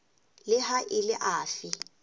le ha e le afe